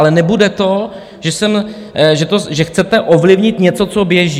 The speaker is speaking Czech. Ale nebude to, že chcete ovlivnit něco, co běží.